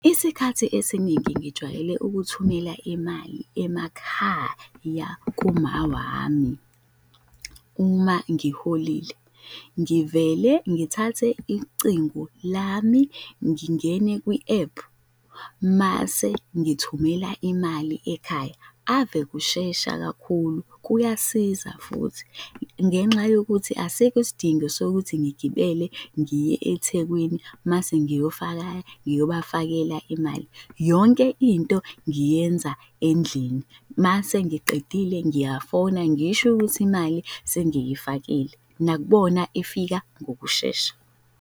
Isikhathi esiningi ngijwayele ukuthumela imali emakhaya kuma wami, uma ngiholile ngivele ngithathe icingo lami, ngingene kwi-ephu mase ngithumela imali ekhaya, ave kushesha kakhulu kuyasiza futhi. Ngenxa yokuthi asikho isidingo sokuthi ngigibele ngiye eThekwini mase ngiyofa ngiyobafaka imali, yonke into ngiyenza endlini mase ngiqedile, ngiyafona ngisho ukuthi imali sengiyifakile, nakubona ifika ngokushesha.